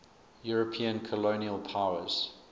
european colonial powers